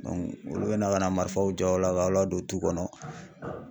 Dɔnku olu be na ka na marifaw jɔ aw k'aw ladon tu kɔnɔ